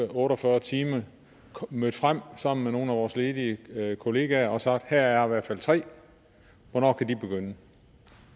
otte og fyrre timer mødt frem sammen med nogle af vores ledige ledige kollegaer og har sagt her er i hvert fald tre hvornår kan de begynde